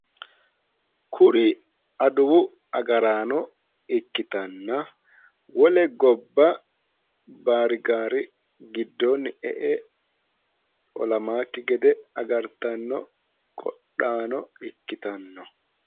Kuri adawu agaraano ikkitanna wole gobba baarigaari giddoonni e'e olamaakki gede agartanno qodhaano ikkitanno